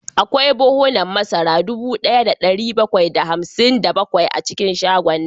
Akwai buhunan masara dubu daya da dari bakwai da hamsin da bakwai a cikin shagon